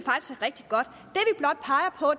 rigtig godt